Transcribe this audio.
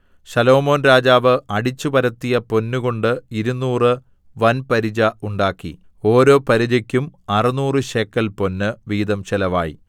ശലോമോൻ രാജാവ് അടിച്ചുപരത്തിയ പൊന്ന് കൊണ്ട് ഇരുനൂറ് വൻപരിച ഉണ്ടാക്കി ഓരോ പരിചക്കും അറുനൂറുശേക്കൽ പൊന്ന് വീതം ചെലവായി